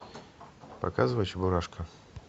показывай чебурашка